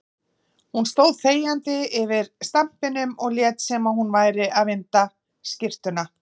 Hún stóð þegjandi yfir stampinum og lét sem hún væri að vinda skyrtuna.